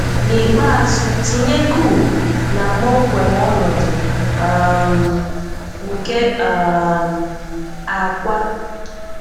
N'ikpeazụ tinye coop na kpọmkwem ọnọdụ um nke um àkwá